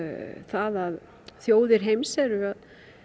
að þjóðir heims eru að